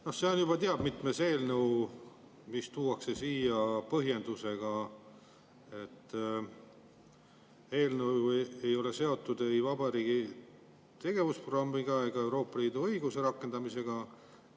No see on juba teab mitmes eelnõu, mis tuuakse siia põhjendusega, et eelnõu ei ole seotud ei vabariigi tegevusprogrammiga ega Euroopa Liidu õiguse rakendamisega.